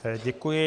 Děkuji.